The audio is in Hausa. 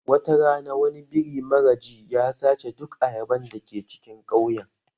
Wata rana wani biri mara ji ya sace duk ayaban da ke cikin ƙauyen.